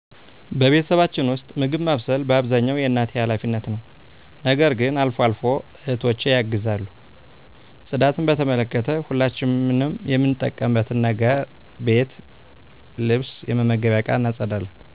በቤተሰባችን ውስጥ፣ ምግብ ማብሰል በአብዛኛው የእናቴ ኃላፊነት ነው። ነገር ግን አልፎ አልፎ እህቶቸ ያግዟል። ጽዳትን በተመለከተ፣ ሁላችንም የምንጠቀምበትን ነገር ቤት ልብስ የመመገቢያ እቃ እናፀዳለን።